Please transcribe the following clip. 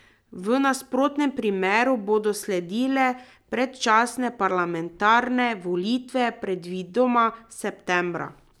V nasprotnem primeru bodo sledile predčasne parlamentarne volitve, predvidoma septembra.